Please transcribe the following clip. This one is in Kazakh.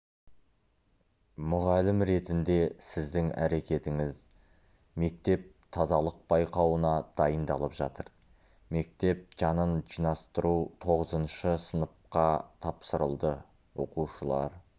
мұғалім ретінде сіздің әрекетіңіз мектеп тазалық байқауына дайындалып жатыр мектеп жанын жинастыру тоғызыншы сыныбқа тапсырылды оқушылар